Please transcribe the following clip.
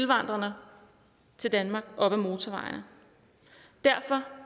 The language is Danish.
vandrende til danmark op ad motorvejene derfor